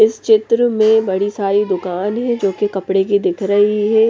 इस चित्र में बड़ी सारी दुकान है जो कि कपड़े की दिख रही हैं।